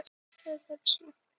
En þeir gera meira en að hlaupa.